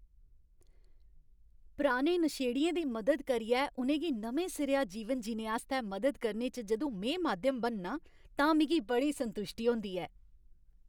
पराने नशेड़ियें दी मदद करियै उ'नें गी नमें सिरेआ जीवन जीने आस्तै मदद करने च जदूं में माध्यम बननां तां मिगी बड़ी संतुश्टी होंदी ऐ।